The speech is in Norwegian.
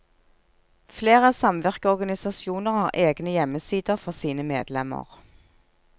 Flere samvirkeorganisasjoner har egne hjemmesider for sine medlemmer.